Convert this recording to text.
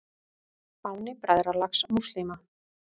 Fáni Bræðralags múslíma.